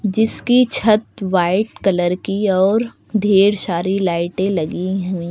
जिसकी छत white colour की और ढेर सारी लाइटें लगी है।